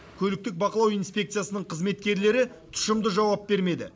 көліктік бақылау инспекциясының қызметкерлері тұщымды жауап бермеді